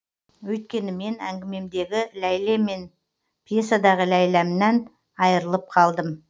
өйткені мен әңгімемдегі ләйлә мен пьесадағы ләйләмнан айырылып қалдым